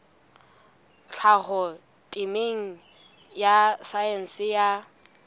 tlhaho temeng ya saense ya